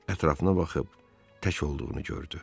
Ətrafına baxıb tək olduğunu gördü.